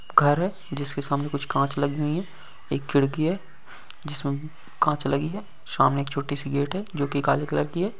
घर है जिस के सामने कुछ कांच लगी हुई है एक खिड़की है जिसमे कांच लगी है सामने एक छोटी सी गेट हैं जोकी काले कलर की है।